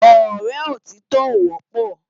Òrè ótitò ó wòpò